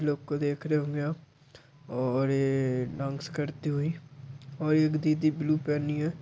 लोग को देख रहे होंगे आप और ये ए डांस करती हुई और एक दीदी ब्लू पहनी है।